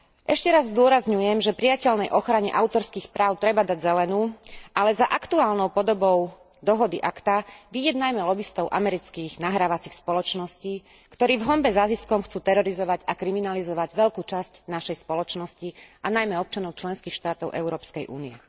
Ešte raz zdôrazňujem, že prijateľnej ochrane autorských práv treba dať zelenú, ale za aktuálnou podobou dohody ACTA vyjednajme lobistov amerických nahrávacích spoločností, ktorí v honbe za ziskom chcú terorizovať a kriminalizovať veľkú časť našej spoločnosti, a najmä občanov členských štátov Európskej únie.